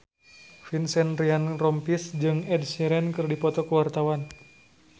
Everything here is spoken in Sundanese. Vincent Ryan Rompies jeung Ed Sheeran keur dipoto ku wartawan